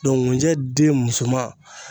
Dɔnku ŋunjɛ den muso ma